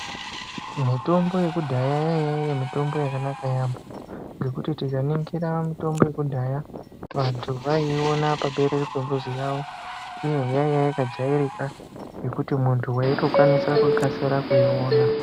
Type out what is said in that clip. Mitombo yekudhaya yanga iri mitombo yakanaka yampho nekuti tikaningira mitombo yekudhaya vantu vaipona paberere yemuzi yavo uye yange yakajairika nekuti muntu waikasika kuiona.